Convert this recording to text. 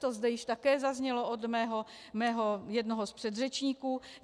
To zde již také zaznělo od mého jednoho z předřečníků.